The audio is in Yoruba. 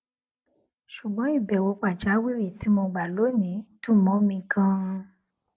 ṣùgbọn ìbèwò pàjáwìrì tí mo gbà lónìí dùn mó mi ganan